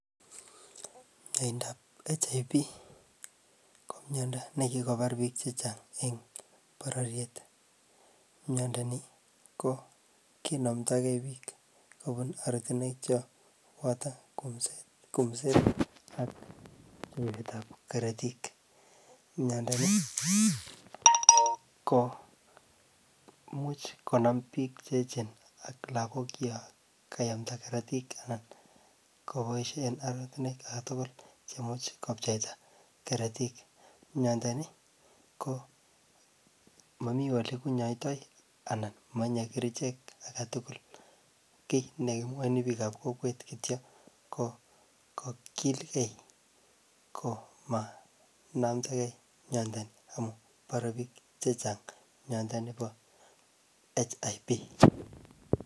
Miranda ab HIV ko miando nikikobar bich chechang en bororiet ,miani kinamdagei bik kubun oratinwek Chok kumset ab keret ab karatikmiando in komuch konam bik cheyechen ako lagok chok kayomdo Karatik Chok kobaishen oratinwek agetugul cheimuch kobcheita Karatik Miranda Ni komami olekenyoitoi anan komatinye kerchek agetugul kit negimwaini bik ab kokwet kityo kokilgei komaindamdagei mianiamunbbare bik chechang Miranda niton ba HIV